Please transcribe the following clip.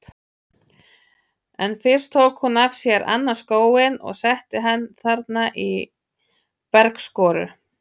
En fyrst tók hún af sér annan skóinn og setti hann þarna í bergskoru.